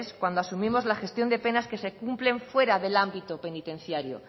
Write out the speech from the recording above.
cuando asumimos la gestión de penas que se cumplen fuera del ámbito penitenciario